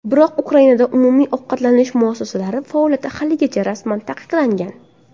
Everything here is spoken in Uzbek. Biroq Ukrainada umumiy ovqatlanish muassasalari faoliyati haligacha rasman taqiqlangan.